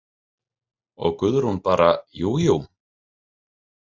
Og Guðrún bara: Jú, jú.